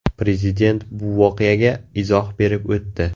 Prezident bu voqeaga izoh berib o‘tdi.